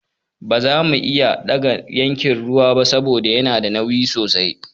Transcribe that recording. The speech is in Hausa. Ba zamu iya ɗaga yankin ruwan ba saboda yana da nauyi sosai.